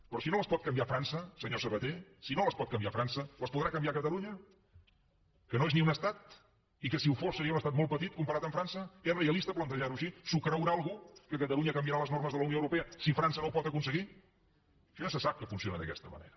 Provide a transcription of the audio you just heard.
però si no les pot canviar frança senyor sabaté si no les pot canviar frança les podrà canviar catalunya que no és ni un estat i que si ho fos seria un estat molt petit comparat amb frança és rea lista plantejar ho així s’ho creurà algú que catalunya canviarà les normes de la unió europea si frança no ho pot aconseguir això ja se sap que funciona d’aquesta manera